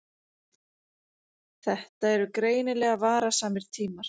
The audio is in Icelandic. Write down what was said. Þetta eru greinilega varasamir tímar.